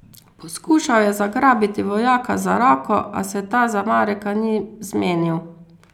Poskušal je zagrabiti vojaka za roko, a se ta za Mareka ni zmenil.